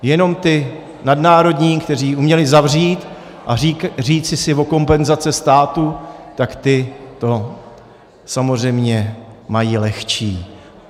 Jenom ti nadnárodní, kteří uměli zavřít a říci si o kompenzace státu, tak ti to samozřejmě mají lehčí.